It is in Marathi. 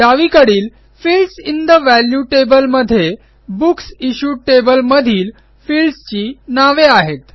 डावीकडीलFields इन ठे वॅल्यू टेबल मध्ये बुक्स इश्यूड टेबल मधील फील्ड्स ची नावे आहेत